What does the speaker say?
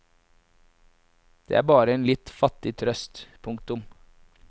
Det er bare en litt fattig trøst. punktum